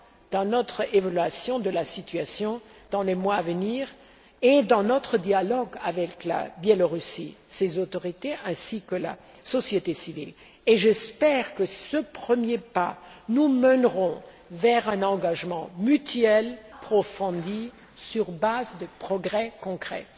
dans notre évaluation de la situation dans les mois à venir et dans notre dialogue avec le Belarus, ses autorités, ainsi que la société civile, et j'espère que ce premier pas nous mènera vers un engagement mutuel approfondi sur base de progrès concrets.